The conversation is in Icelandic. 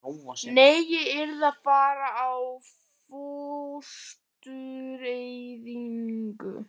Nei, ég yrði að fara í fóstureyðingu.